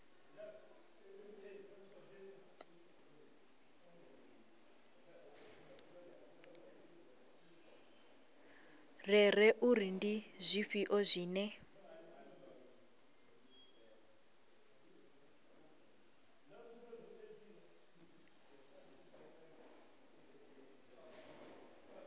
rere uri ndi zwifhio zwine